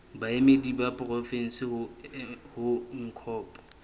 baemedi ba porofensi ho ncop